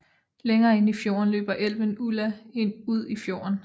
Længere inde i fjorden løber elven Ulla ud i fjorden